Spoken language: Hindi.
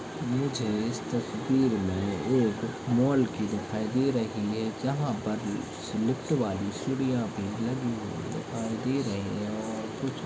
मुझे इस तस्वीर में एक माल की दिखाई दे रही है जहाँ पर लिफ्ट वाली सीढ़िया भी लगी हुई देखाई दे रहे है और कुछ--